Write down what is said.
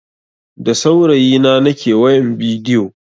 Da saurayi na nake wayan bidiyo.